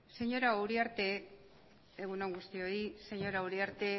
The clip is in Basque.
egun on guztioi señora uriarte